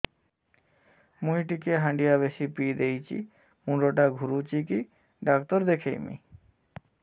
ମୁଇ ଟିକେ ହାଣ୍ଡିଆ ବେଶି ପିଇ ଦେଇଛି ମୁଣ୍ଡ ଟା ଘୁରୁଚି କି ଡାକ୍ତର ଦେଖେଇମି